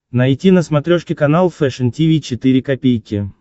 найти на смотрешке канал фэшн ти ви четыре ка